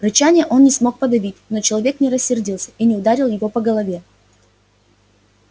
рычания он не смог подавить но человек не рассердился и не ударил его по голове